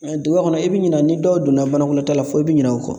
Duguba kɔnɔ i bɛ ɲina ni dɔw donna banakɔtala fo i bɛ ɲinɛ u kɔ